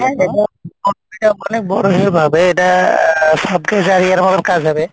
এটা কাজ হবে,